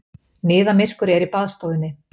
Niðamyrkur er í baðstofunni.